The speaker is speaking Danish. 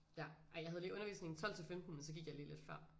Ja ej jeg havde lige undervisning 12 til 15 men så gik jeg lige lidt før